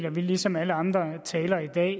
at vi ligesom alle andre talere i dag